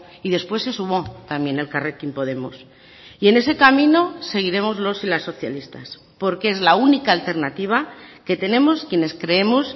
y después se sumó también elkarrekin podemos y en ese camino seguiremos los y las socialistas porque es la única alternativa que tenemos quienes creemos